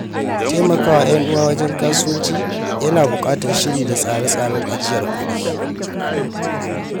Taimaka wa ‘yan uwa wajen kasuwanci yana buƙatar shiri da tsare-tsaren ajiyar kudi.